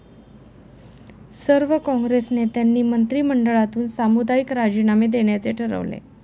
सर्व काँग्रेस नेत्यांनी मंत्रिमंडळातून सामुदायिक राजीनामे देण्याचे ठरवले.